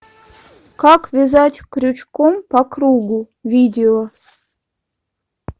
как вязать крючком по кругу видео